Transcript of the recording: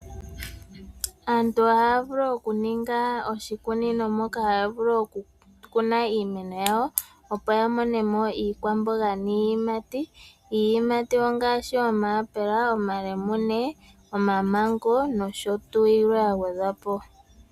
Aantu ohaya vulu okuninga oshikunino moka haya vulu oku kuna iimeno yawo opo ya monemo iikwamboga niiyimati. Iiyimati ongaashi omayapela , omalemune , omamengo noshotuu yilwe yagwedhwapo.